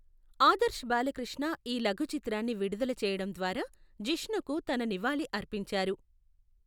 ఆదర్శ్ బాలకృష్ణ ఈ లఘు చిత్రాన్ని విడుదల చేయడం ద్వారా జిష్ణుకు తన నివాళి అర్పించారు.